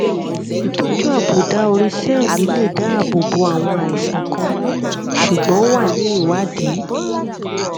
ìtọjú àbùdá orí sẹẹli lè dáàbò bo àwọn àìsàn kan ṣùgbọn ó wà ní ìwádìí